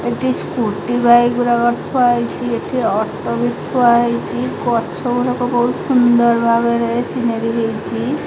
ଏଠି scooty bike ଗୁଡ଼ାକ ଥୁଆ ହେଇଚି ଏଠି ଅଟୋ ବି ଥୁଆ ହେଇଚି ଗଛ ଗୁଡ଼ାକ ବହୁତ୍ ସୁନ୍ଦର ଭାବରେ ସିନେରୀ ହେଇଚି।